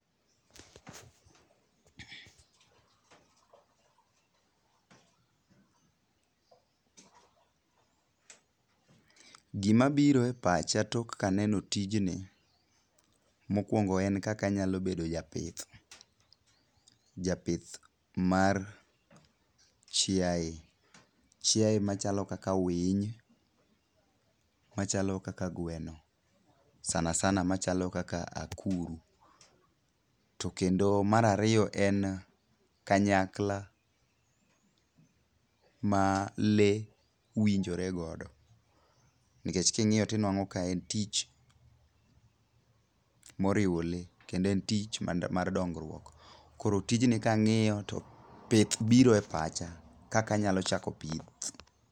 Gima biro e pacha tok kaneno tijni, mokuongo en kaka anyalo bedo japith. Japith mar chiaye. Chiaye machalo kaka winy, machalo kaka gweno, sana sana machalo kaka akuru. To kendo mar ariyo en, kanyakla ma le winjore godo. Nikech king'iyo tinwang'o ka en tich moriwo le kendo en tich mar dongruok. Koro tijni kang'iyo to pith biro e pacha, kaka anyalo chako pith.